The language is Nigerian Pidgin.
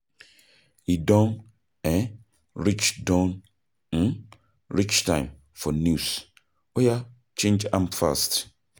E don um reach don um reach time for news, oya change am fast